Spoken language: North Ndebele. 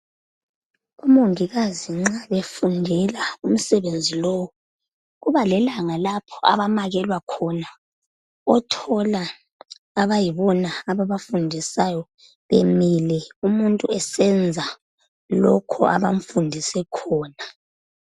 Omongikazi nxa befundela umsebenzi lowu, kubalelanga lapho abamekelwa khona. Othola abayibona ababafundisayo bemile umuntu esenza lokhu abamfundise khona.